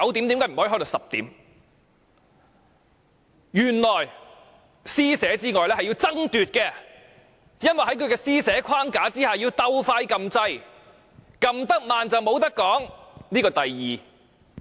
原來除施捨之外還要爭奪，因為在他施捨的框架之下，還須搶先按下按鈕，按得慢的便沒有機會發言了。